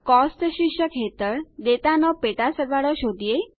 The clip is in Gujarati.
કોસ્ટ શીર્ષક હેઠળ ડેટાનો પેટાસરવાળો શોધીએ